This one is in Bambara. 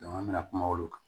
an bɛna kuma olu kan